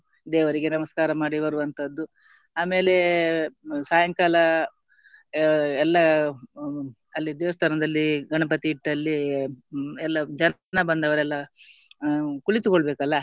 ದೇವರಿಗೆ ನಮಸ್ಕಾರ ಮಾಡಿ ಬರುವಂತದ್ದು ಆಮೇಲೆ ಸಾಯಂಕಾಲ ಅಹ್ ಎಲ್ಲ ಅಲ್ಲಿ ದೇವಸ್ತಾನದಲ್ಲಿ ಗಣಪತಿ ಇಟ್ಟಲ್ಲಿ ಹ್ಮ್ ಎಲ್ಲ ಜನ ಬಂದವರೆಲ್ಲ ಅಹ್ ಕುಳಿತುಕೊಲ್ಬೇಕಲ್ಲ